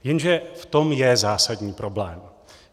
Jenže v tom je zásadní problém.